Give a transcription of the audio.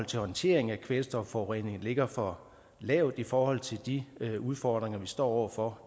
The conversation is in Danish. til håndtering af kvælstofforureningen ligger for lavt i forhold til de udfordringer vi står over for